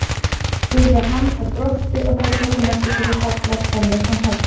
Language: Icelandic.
spurði hann og brosti og þá tók hún eftir hversu fallegar tennur hann hafði.